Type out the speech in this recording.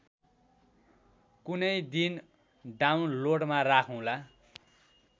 कुनैदिन डाउनलोडमा राखुँला